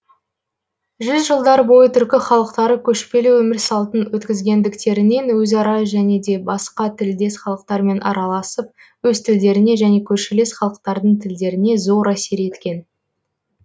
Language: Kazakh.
жүз жылдар бойы түркі халықтары көшпелі өмір салтын өткізгендіктерінен өзара және де басқа тілдес халықтармен араласып өз тілдеріне және көршілес халықтардың тілдеріне зор әсер еткен